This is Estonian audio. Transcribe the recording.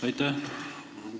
Aitäh!